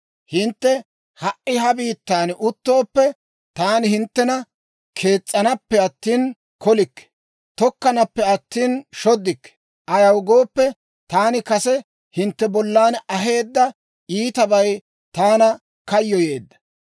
‹Hintte ha"i ha biittan uttooppe, taani hinttena kees's'anappe attina kolikke; tokkanappe attina, shoddikke. Ayaw gooppe, taani kase hintte bollan aheedda iitabay taana kayyoyeedda.